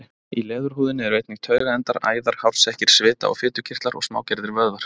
Í leðurhúðinni eru einnig taugaendar, æðar, hársekkir, svita- og fitukirtlar og smágerðir vöðvar.